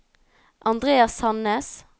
Andreas Sannes